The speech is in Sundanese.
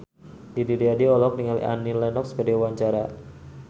Didi Riyadi olohok ningali Annie Lenox keur diwawancara